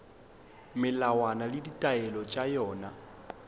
melawana le ditaelo tša yona